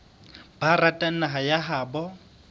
ba ratang naha ya habo